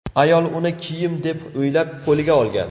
Ayol uni kiyim deb o‘ylab, qo‘liga olgan.